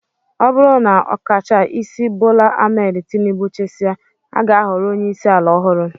Ọ bụrụ na ọkachaisi Bola Ahmed Tinibu chịsịa, a ga-ahọrọ onyeisi ala ọhụrụ